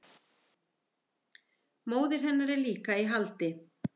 Móðir hennar er líka í haldi